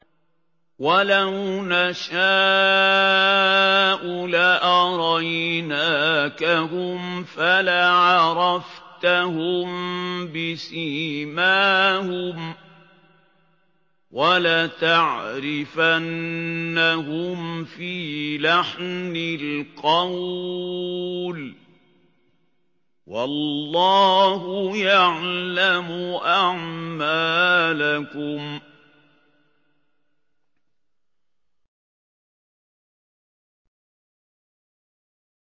وَلَوْ نَشَاءُ لَأَرَيْنَاكَهُمْ فَلَعَرَفْتَهُم بِسِيمَاهُمْ ۚ وَلَتَعْرِفَنَّهُمْ فِي لَحْنِ الْقَوْلِ ۚ وَاللَّهُ يَعْلَمُ أَعْمَالَكُمْ